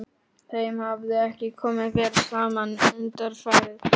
Þeim hafði ekki komið vel saman undanfarið.